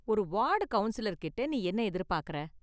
ஒரு வார்டு கவுன்சிலர்கிட்ட நீ என்ன எதிர்பார்க்குற?